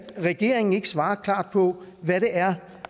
regeringen ikke svarer klart på hvad det er